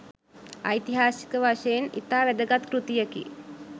ඓතිහාසික වශයෙන් ඉතා වැදගත් කෘතියකි.